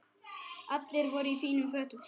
Allir voru í fínum fötum.